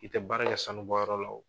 I tɛ baara kɛ sanubɔyɔrɔ la wo.